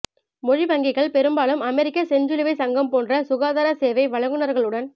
மொழி வங்கிகள் பெரும்பாலும் அமெரிக்க செஞ்சிலுவை சங்கம் போன்ற சுகாதார சேவை வழங்குநர்களுடன்